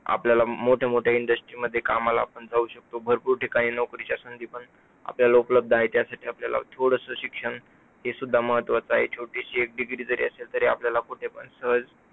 आपल्याला मोठ मोठ्या industry मध्ये कामाला पण जाऊ शकतो. भरपूर ठिकाणी नोकरीच्या संधी पण आपल्याला उपलब्ध आहे. त्यासाठी आपल्याला थोडसं शिक्षण हे सुद्धा महत्वाचं आहे. छोटीशी एक degree जरी असेल तरी आपल्याला कुठे पण सहज